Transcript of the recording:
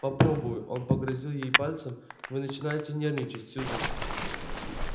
попробую он погрозил ей пальцем вы начинаете нервничать сьюзен